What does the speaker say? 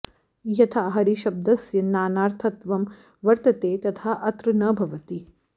यथा हरिशब्दस्य नानार्थत्वं वर्तते तथा अत्र न भवति